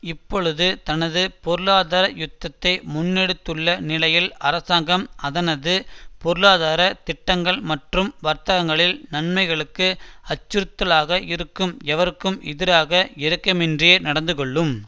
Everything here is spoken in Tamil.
இப்பொழுது தனது பொருளாதார யுத்தத்தை முன்னெடுத்துள்ள நிலையில் அரசாங்கம் அதனது பொருளாதார திட்டங்கள் மற்றும் வர்த்தகர்களில் நன்மைகளுக்கு அச்சுறுத்தலாக இருக்கும் எவருக்கும் எதிராக இரக்கமின்றியே நடந்துகொள்ளும்